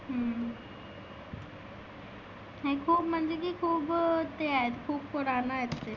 हम्म आणि खुप म्हणजे की खुप ते आहेत खुप पुराना आहे ते.